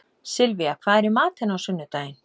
Sylvía, hvað er í matinn á sunnudaginn?